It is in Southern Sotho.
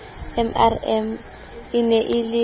mrm e ne e le